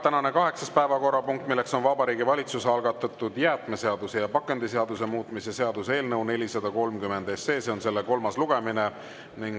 Tänane kaheksas päevakorrapunkt on Vabariigi Valitsuse algatatud jäätmeseaduse ja pakendiseaduse muutmise seaduse eelnõu 430 kolmas lugemine.